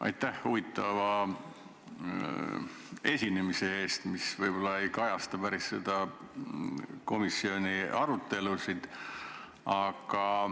Aitäh huvitava esinemise eest, mis võib-olla küll ei kajasta päris komisjoni arutelusid.